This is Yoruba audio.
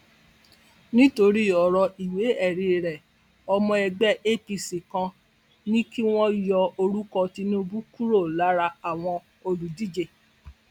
nítorí ọrọ ìwéẹrí rẹ ọmọ ẹgbẹ apc kan ní kí wọn yọ orúkọ tinubu kúrò lára àwọn olùdíje